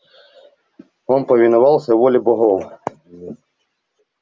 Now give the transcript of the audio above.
он повиновался воле богов